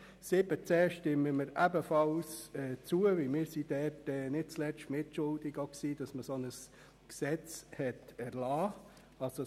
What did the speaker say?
7.c stimmen wir ebenfalls zu, weil wir nicht zuletzt mitschuldig waren, dass ein solches Gesetz erlassen wurde.